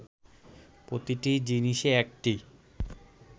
প্রতিটি জিনিসে একটি